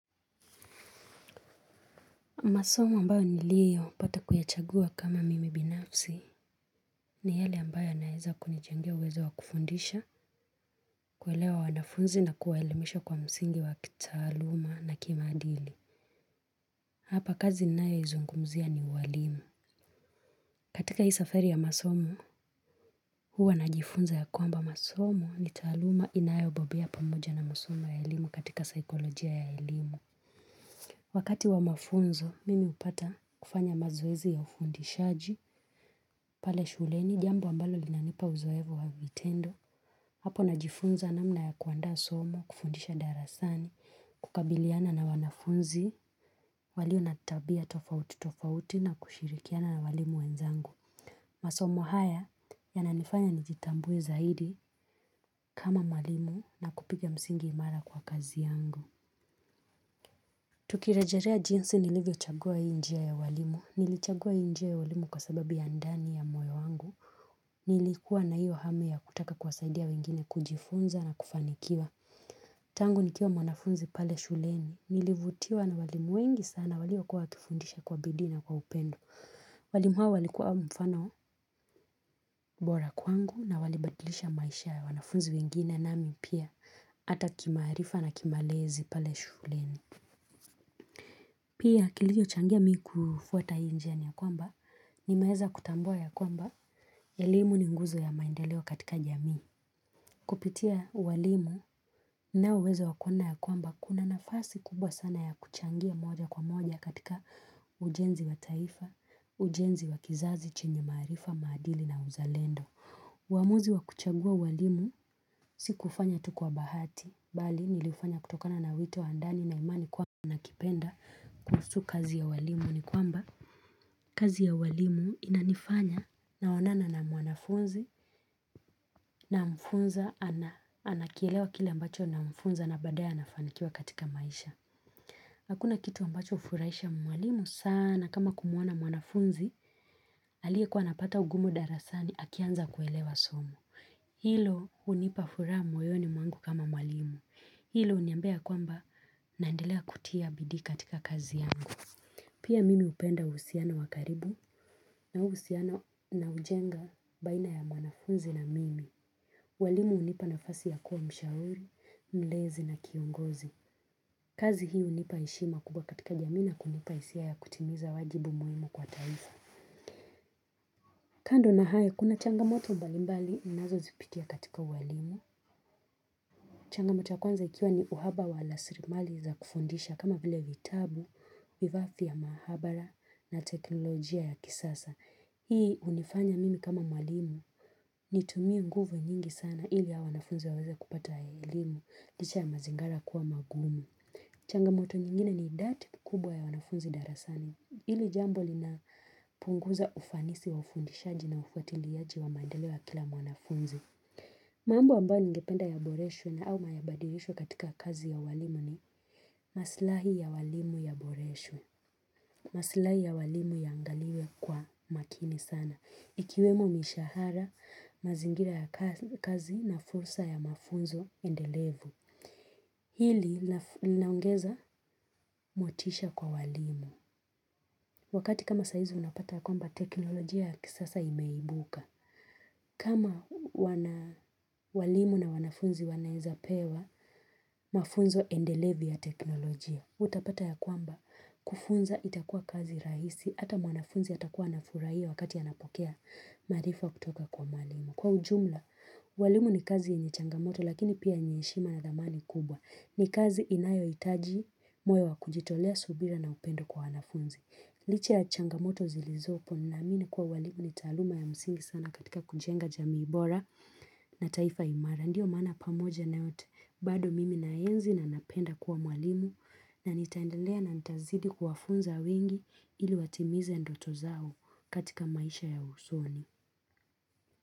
Masomo ambayo niliyo pata kuyachagua kama mimi binafsi ni yale ambayo yanaweza kunichangia uwezo wa kufundisha, kuelewa wanafunzi na kuwaelemesha kwa msingi wa kitaaluma na kimaadili. Hapa kazi ninayo izungumzia ni uwaalimu. Katika hii safari ya masomo, huwa na jifunza ya kwamba masomo ni taaluma inayo bobea pamoja na masomo ya elimu katika saikolojia ya elimu. Wakati wa mafunzo, mimi hupata kufanya mazoezi ya ufundishaji, pale shuleni, jambo ambalo linanipa uzoevo wa vitendo, hapo na jifunza namna ya kuandaa somo, kufundisha darasani, kukabiliana na wanafunzi, walio natabia tofauti tofauti na kushirikiana na walimu wenzangu. Masomo haya ya nanifanya nijitambue zaidi kama mwalimu na kupiga msingi imara kwa kazi yangu. Tukirejalea jinsi nilivyo chagua hii njia ya uwalimu Nilichagua hii njia ya uwalimu kwa sababi ya ndani ya moyo wangu Nilikuwa na iyo hamu ya kutaka kuwasaidia wengine kujifunza na kufanikiwa Tangu nikiwa mwanafunzi pale shuleni Nilivutiwa na walimu wengi sana waliokuwa wakifundisha kwa bidii na kwa upendo walimu hawa walikuwa mfano bora kwangu na walibadilisha maisha ya wanafunzi wengine nami pia Ata kimaarifa na kimalezi pale shuleni Pia kilicho changia mimi kufuata hii njia ni ya kwamba ni meweza kutambua ya kwamba ya elimu ni ngumzo ya maendeleo katika jamii. Kupitia uwalimu ninauweza wakuona ya kwamba kuna nafasi kubwa sana ya kuchangia moja kwa moja katika ujenzi wa taifa, ujenzi wa kizazi, chenye maarifa, maadili na uzalendo. Uamuzi wa kuchagua uwalimu si kufanya tu kwa bahati bali nilifanya kutokana na wito wa ndani na imani kwamba nakipenda kuhusu kazi ya walimu Nikwamba kazi ya walimu inanifanya naonana na mwanafunzi na mfunza anakielewa kila ambacho namfunza na baadaya anafanikiwa katika maisha Hakuna kitu mbacho ufuraisha mwalimu sana kama kumuona mwanafunzi alie kwa napata ugumu darasani akianza kuelewa somo Hilo hunipa furaha moyoni mwangu kama mwalimu. Hilo uniambia ya kwamba naendelea kutia bidii katika kazi yangu. Pia mimi upenda uhusiano wakaribu na uhusiano na ujenga baina ya mwanafunzi na mimi. Uwalimu hunipa nafasi ya kuwa mshauri, mlezi na kiongozi. Kazi hii hunipa heshima kubwa katika jamii na kunipa hisia ya kutimiza wajibu muhimu kwa taifa. Kando na hayo kuna changamoto mbalimbali ninazo zipitia katika uwalimu. Changamoto ya kwanza ikiwa ni uhaba wa lasirimali za kufundisha kama vile vitabu, vivafia maabara na teknolojia ya kisasa. Hii unifanya mimi kama mwalimu ni tumie nguvu nyingi sana ili ya wanafunzi waweza kupata ya ilimu, licha ya mazingara kuwa magumu. Changamoto nyingine ni idadi kubwa ya wanafunzi darasani. Hili jambo lina punguza ufanisi wa ufundishaji na ufuatiliaji wa maendeleo ya kila mwanafunzi. Mambo ambayo ningependa yaboreshwe au yabadirishwe katika kazi ya walimu ni maslahi ya walimu yaboresho. Maslahi ya walimu yaangaliwe kwa makini sana. Ikiwemo mishahara, mazingira ya kazi na fursa ya mafunzo endelevu. Hili linaongeza motisha kwa walimu. Wakati kama saizi unapata kwamba teknoloji ya kisasa imeibuka. Kama walimu na wanafunzi wanaweza pewa mafunzo endelevi ya teknolojia Utapata ya kwamba kufunza itakuwa kazi rahisi Hata mwanafunzi atakuwa anafurahia wakati anapokea maarifa kutoka kwa mwalimu Kwa ujumla, walimu ni kazi yenye changamoto lakini pia ni ya heshima na dhamani kubwa ni kazi inayohitaji moyo wa kujitolea subira na upendo kwa wanafunzi Licha ya changamoto zilizopo ninaamini kuwa walimu ni taaluma ya msingi sana katika kujenga jamii bora na taifa imara. Ndio maana pamoja na yote bado mimi naenzi na napenda kuwa mwalimu na nitaendelea na nita zidi kuwafunza wengi ili watimiza ndoto zao katika maisha ya usoni.